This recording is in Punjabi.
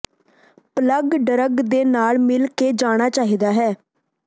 ਪਲੱਗ ਡਰੱਗ ਦੇ ਨਾਲ ਮਿਲ ਕੇ ਜਾਣਾ ਚਾਹੀਦਾ ਹੈ